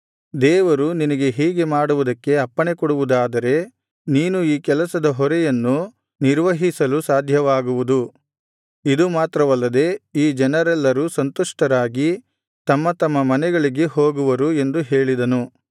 ದೇವರು ನಿನಗೆ ಹೀಗೆ ಮಾಡುವುದಕ್ಕೆ ಅಪ್ಪಣೆಕೊಡುವುದಾದರೆ ನೀನು ಈ ಕೆಲಸದ ಹೊರೆಯನ್ನು ನಿರ್ವಹಿಸಲು ಸಾಧ್ಯವಾಗುವುದು ಇದು ಮಾತ್ರವಲ್ಲದೆ ಈ ಜನರೆಲ್ಲರೂ ಸಂತುಷ್ಟರಾಗಿ ತಮ್ಮ ತಮ್ಮ ಮನೆಗಳಿಗೆ ಹೋಗುವರು ಎಂದು ಹೇಳಿದನು